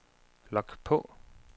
log på